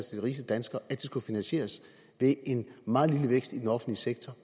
rigeste danskere at de skulle finansieres ved en meget lille vækst i den offentlige sektor